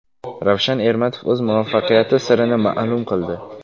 Ravshan Ermatov o‘z muvaffaqiyati sirini ma’lum qildi.